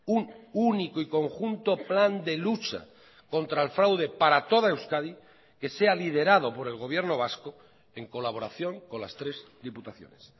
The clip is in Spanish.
un único y conjunto plan de lucha contra el fraude para toda euskadi que sea liderado por el gobierno vasco en colaboración con las tres diputaciones